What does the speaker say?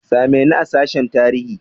Same ni a sashen tarihi!